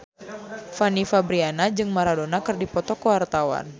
Fanny Fabriana jeung Maradona keur dipoto ku wartawan